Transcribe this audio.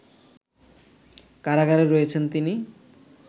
কারাগারে রয়েছেন তিনি